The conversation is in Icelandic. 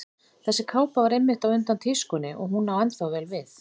Þessi kápa var einmitt á undan tískunni og hún á ennþá vel við.